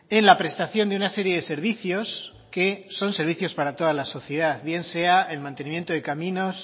en la prestación de una serie de servicios que son servicios para toda la sociedad bien sea el mantenimiento de caminos